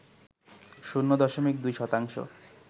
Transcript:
শূন্য দশমিক ২ শতাংশ